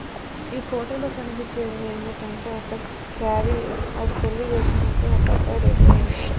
ఈ ఫోటోలో కనిపించేవేమిటంటే ఒక శారి ఆడ పెళ్లి చేసుకునేకి ఒక అబ్బాయి రెడీ అయినాడు.